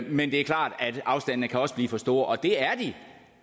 men det er klart at afstandene også kan blive for store det er de